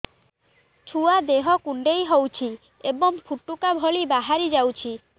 ଛୁଆ ଦେହ କୁଣ୍ଡେଇ ହଉଛି ଏବଂ ଫୁଟୁକା ଭଳି ବାହାରିଯାଉଛି